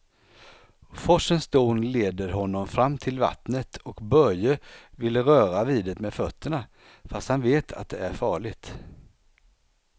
Forsens dån leder honom fram till vattnet och Börje vill röra vid det med fötterna, fast han vet att det är farligt.